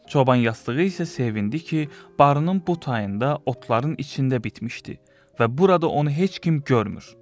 Çoban yastığı isə sevindi ki, barının bu tayında otların içində bitmişdi və burada onu heç kim görmür.